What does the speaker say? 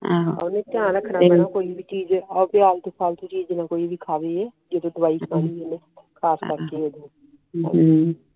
ਓਹਨੇ ਧਿਆਨ ਰੱਖਣਾ ਕੋਈ ਵੀ ਚੀਜ਼ ਆਲਤੁ ਫਾਲਤੂ ਜੀ ਖਾਵੇ ਜਦੋ ਡਾਵਾਯੀ ਤਾਈ ਦੇਣੀ ਆ ਨ